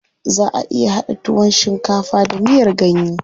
Zaʼa iya haɗa tuwon shinkafa da miyar ganye.